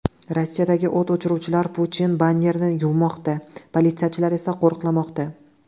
Rossiyada o‘t o‘chiruvchilar Putin bannerini yuvmoqda, politsiyachilar esa qo‘riqlamoqda.